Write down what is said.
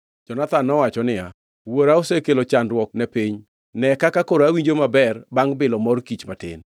Jonathan nowacho niya, “Wuora osekelo chandruok ne piny. Ne kaka koro Awinjo maber bangʼ bilo mor kich matin.